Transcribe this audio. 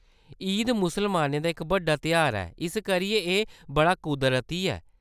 ईद मुसलमानें दा इक बड्डा तेहार ऐ, इस करियै एह्‌‌ बड़ा कुदरती ऐ।